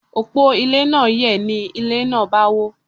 Òpó ilé náà yẹ̀, ni ilé náà bá wó.